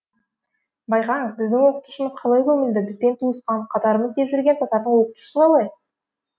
байқаңыз біздің оқытушымыз қалай көмілді бізбен туысқан қатарымыз деп жүрген татардың оқытушысы қалай